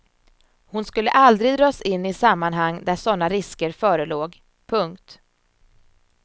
Hon skulle aldrig dras in i sammanhang där såna risker förelåg. punkt